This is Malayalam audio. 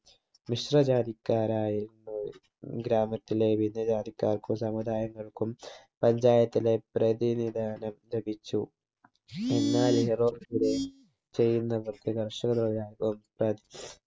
മിശ്ര ജാതിക്കാരായിരുന്ന ഗ്രാമത്തിലെ വിവിധ ജാതിക്കാർക്കും സമുദായങ്ങൾക്കും panchayat ലെ പ്രതിനിധാനം ലഭിച്ചു എന്നാൽ ചെയ്യുന്ന പ്രവർത്തി കർഷകരുടെ